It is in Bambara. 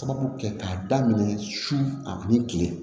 Sabu kɛ k'a daminɛ su ani kile